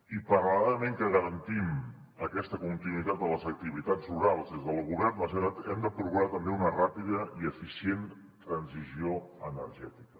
i paral·lelament a que garantim aquesta continuïtat de les activitats rurals des del govern de la generalitat hem de procurar també una ràpida i eficient transició energètica